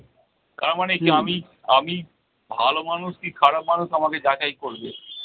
তারমানে কী আমি আমি ভালো মানুষ কি খারাপ মানুষ আমাকে যাচাই করবে।